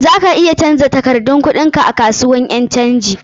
Za ka iya canja takardar kuɗin ka a kasuwan ƴan canji.